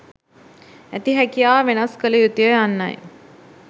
ඇති හැකියාව වෙනස් කළ යුතුය යන්නයි